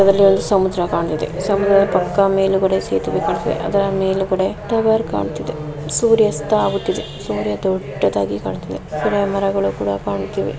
ಇದರಲ್ಲಿ ಒಂದು ಸಮುದ್ರ ಕಾಣಿಸ್ತಿದೆ ಸಮುದ್ರದ ಪಾಕ್ಕ ಮೇಲುಗಡೆ ಸೇತುವೆ ಕಾಣಿಸ್ತಿದೆ ಅದರ ಮೇಲುಗಡೆ ಟವರ್ ಕಾಣಿಸ್ತಿದೆ ಸೂರ್ಯ ಅಸ್ತ ಆಗುತಿದೆ ಸೂರ್ಯ ದೊಡ್ಡದಾಗಿ ಕಾಣಿಸ್ತಿದೆ ಗಿಡ ಮರಗಳು ಕೂಡ ಕಾಣುಸುತಿವೆ.